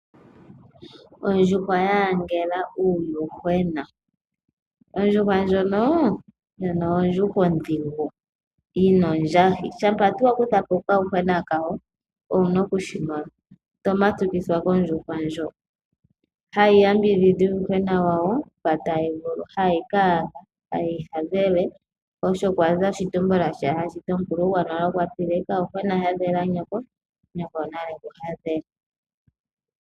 Ondjuhwa ya siikila uuyuhwena, ondjuhwa ndoka ondjuhwa ondhigu yi na ondjahi. Shampa tuu wa kutha po okayuhwena kamwe owu na okushi mona to matukithwa kondjuhwa ndjoka. Ohayi yambidhidha uuyuhwena wayo mpoka tayi vulu nokuwu hadhela. Oko kwa za oshitumbula shoka hashi ti kutya omukulu gonale okwa ti: "Kayuhwena hadhela nyoko, nyoko onale e ku hadhele."